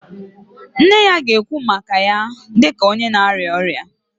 Nne ya ga-ekwu maka ya dị ka onye na-arịọ arịrịọ